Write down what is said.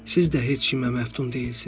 Siz də heç kimə məftun deyilsiz.